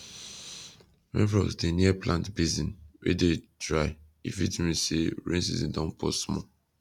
when frogs dey near plant basin wey dey dry e fit mean say rain season don pause small